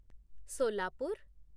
Solapur